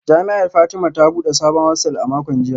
Jami’ar Fatima ta bude sabon hostel a makon jiya